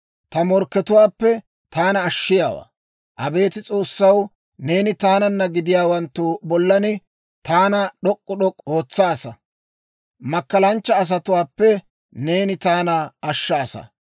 ta morkkatuwaappe taana ashshiyaawaa. Abeet S'oossaw, neeni taananna gaaddatiyaawanttu bollan taana d'ok'k'u d'ok'k'u ootsaasa; Makkalanchcha asatuwaappe neeni taana ashshaasa.